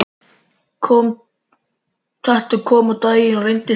Þetta kom á daginn og reyndist rétt.